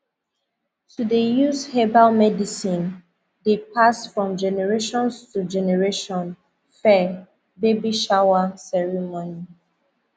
to dey use herbal medicine dey pass from generations to generation fir baby shower ceremonies